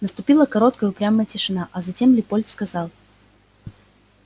наступила короткая упрямая тишина а затем лепольд сказал